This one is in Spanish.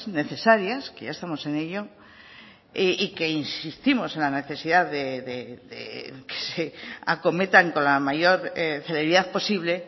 necesarias que ya estamos en ello y que insistimos en la necesidad de que se acometan con la mayor celeridad posible